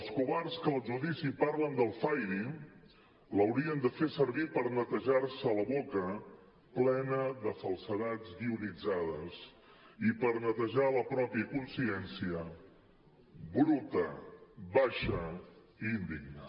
els covards que al judici parlen del fairy l’haurien de fer servir per netejar se la boca plena de falsedats guionitzades i per netejar la pròpia consciència bruta baixa i indigna